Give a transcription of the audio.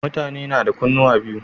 Mutane nada kunnuwa biyu